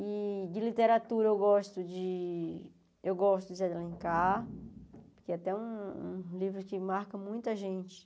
E de literatura, eu gosto de... Eu gosto de Zé de Alencar, que é até um livro que marca muita gente